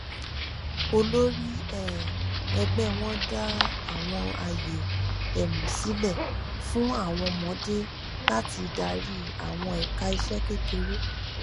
olórí um ẹgbẹ wọn dá àwọn àyè um sílẹ fún àwọn ọmọdé láti darí àwọn ẹka iṣẹ kékeré